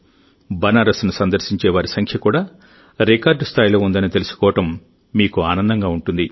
బనారస్ ను సందర్శించే వారి సంఖ్య కూడా రికార్డు స్థాయిలో ఉందని తెలుసుకోవడం మీకు ఆనందంగా ఉంటుంది